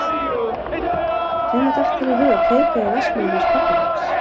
Hvenær datt þér í hug að kveikja í verksmiðjunni hans pabba þíns?